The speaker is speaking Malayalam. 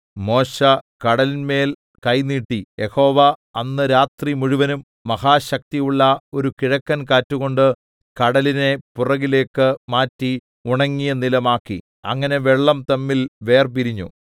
മോശെ കടലിന്മേൽ കൈ നീട്ടി യഹോവ അന്ന് രാത്രിമുഴുവനും മഹാശക്തിയുള്ള ഒരു കിഴക്കൻ കാറ്റുകൊണ്ട് കടലിനെ പുറകിലേക്ക് മാറ്റി ഉണങ്ങിയ നിലം ആക്കി അങ്ങനെ വെള്ളം തമ്മിൽ വേർപിരിഞ്ഞു